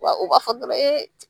Wa u b'a fɔ dɔrɔn